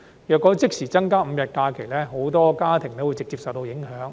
如果即時增加5日法定假日，很多家庭會直接受到影響。